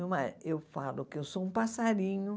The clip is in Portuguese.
Meu ma eu falo que eu sou um passarinho.